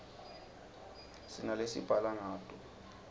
sinalesibhala ngato